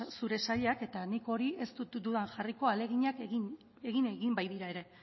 zure sailak eta nik hori ez dut dudan jarriko ahaleginak egin egin baitira ere